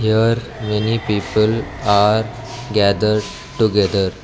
there many people are gathered together.